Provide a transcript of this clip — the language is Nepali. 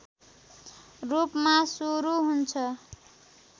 रूपमा सुरू हुन्छ